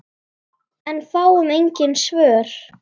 En fáum engin svör.